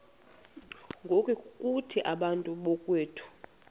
ngokuthi bantu bakowethu